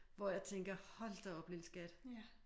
Hvor jeg tænker hold da op lille skat